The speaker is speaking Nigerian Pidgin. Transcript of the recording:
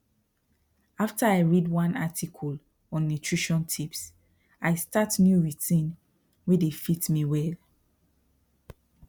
after i read one article on nutrition tips i start new routine wey dey fit me well